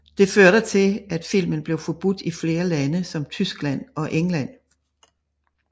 Det førte til at filmen blev forbudt i flere lande som Tyskland og England